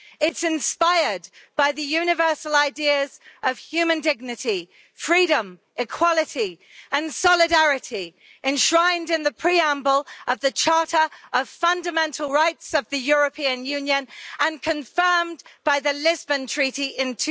It's inspired by the universal ideas of human dignity, freedom, equality and solidarity enshrined in the preamble of the Charter of Fundamental Rights of the European Union and confirmed by the Lisbon Treaty in